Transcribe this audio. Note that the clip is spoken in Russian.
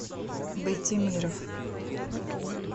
байтимиров